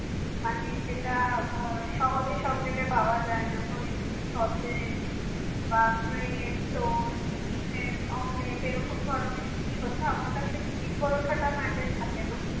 মানে যেটা আহ সহজে সব জায়গায় পাওয়া যায় না ধরে নিন sausage বা brad, toast ডিমের omelette এরকম ধরনের জিনিসপত্র আমার কাছে লুচি পরোটা mandatory থাকে না